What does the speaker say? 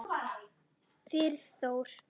Friðþór